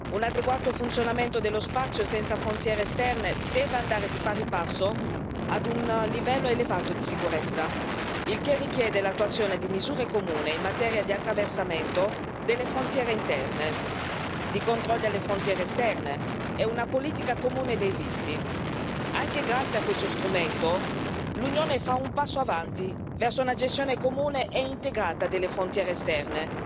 Un adeguato funzionamento dello spazio senza frontiere esterne deve andare di pari passo ad un livello elevato di sicurezza. Il che richiede l'attuazione di misure comuni in materia di attraversamento delle frontiere interne, di controlli alle frontiere esterne e una politica comune dei visti. Anche grazie a questo strumento, l'Unione fa un passo avanti verso una gestione comune e integrata delle frontiere esterne,